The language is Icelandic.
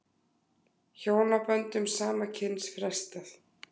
Hjónaböndum sama kyns frestað